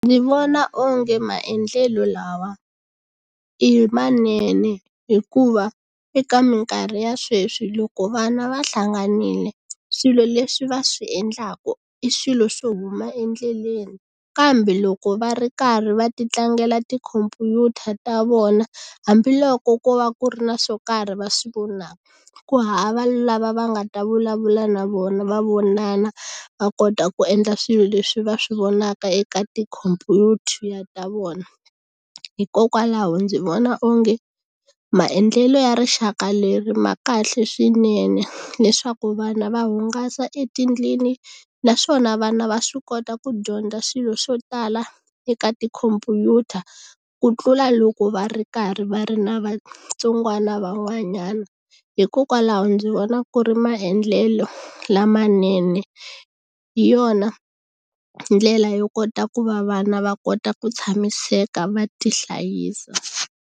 Ndzi vona onge maendlelo lawa i manene hikuva eka mikarhi ya sweswi loko vana va hlanganile swilo leswi va swi endlaka i swilo swo huma endleleni kambe loko va ri karhi va ti tlangela tikhompyuta ta vona hambiloko ko va ku ri na swo karhi va swi vonaka ku hava lava va nga ta vulavula na vona va vonana va kota ku endla swilo leswi va swi vonaka eka tikhompyuta ta vona hikokwalaho ndzi vona onge maendlelo ya rixaka leri ma kahle swinene leswaku vana va hungasa etindlwini naswona vana va swi kota ku dyondza swilo swo tala eka tikhompyuta ku tlula loko va ri karhi va ri na vatsongwana van'wanyana hikokwalaho ndzi vona ku ri maendlelo lamanene hi yona ndlela yo kota ku va vana va kota ku tshamiseka va tihlayisa.